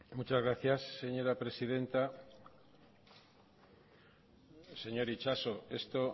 muchas gracias señora presidenta señor itxaso esto